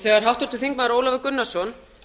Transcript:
þegar háttvirtur þingmaður ólafur gunnarsson